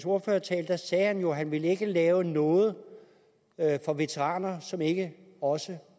ordførertale sagde han jo at han ikke ville lave noget for veteraner som ikke også